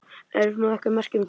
Eru einhver merki um það?